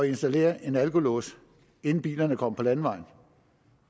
installere en alkolås inden bilerne kommer på landevejen